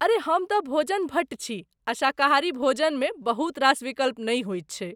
अरे हम तँ भोजन भट्ट छी आ शाकाहारी भोजनमे बहुतरास विकल्प नहि होइत छैक।